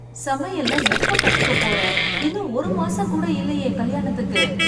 சமையல்லாம் எப்ப கத்துக்கப் போற? இன்னும் ஒரு மாசம் கூட இல்லையே கல்யாணத்துக்கு!